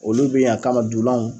Olu bɛ yan a kama dulanw.